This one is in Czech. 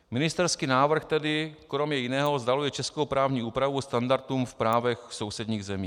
Ministerský návrh tedy kromě jiného vzdaluje českou právní úpravu standardům v právech sousedních zemí.